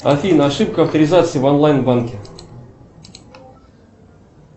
афина ошибка авторизации в онлайн банке